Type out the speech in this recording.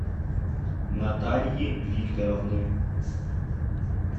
натальи викторовны